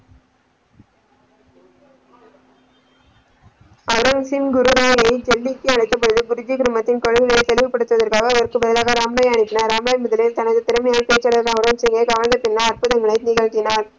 அரசின் குருவை டெல்லிக்கு அழைக்கும் போது குருஜி குருமதியின் கொள்கைகளை பெருமைப்படுத்துவதற்கு அதற்காக ராமராய அனுப்பினார் ராமராய் முதலில் தனது திறமையால , அற்புதங்களை நிகழ்தினார்